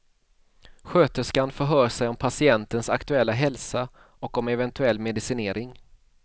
Sköterskan förhör sig om patientens aktuella hälsa och om eventuell medicinering.